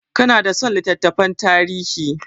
Ka na son littattafan tarihi?